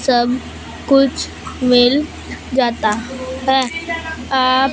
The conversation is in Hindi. सब कुछ मिल जाता है आप--